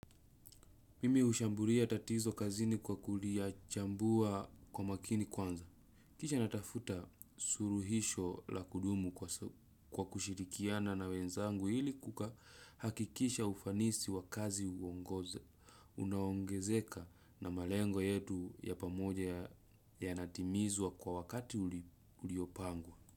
Mimi ushambulia tatizo kazini kwa kulia chambua kwa makini kwanza. Kisha natafuta suluhisho la kudumu kwa kushirikiana na wenzangu ili kuhakikisha ufanisi wa kazi uongoze. Unaongezeka na malengo yetu ya pamoja yanatimizwa kwa wakati uliopangwa.